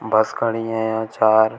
बस खड़ी हैं यहां चार।